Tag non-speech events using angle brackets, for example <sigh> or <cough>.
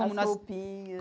<unintelligible> As roupinhas.